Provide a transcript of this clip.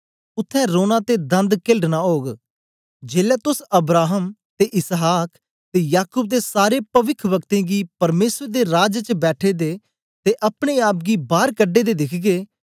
उत्थें रोना ते दंद केलढ़नां ओग जेलै तोस अब्राहम ते इसहाक ते याकूब ते सारे पविखवक्तें गी परमेसर दे राज च बैठे दे ते अपने आप गी बार कढे दे दिखगे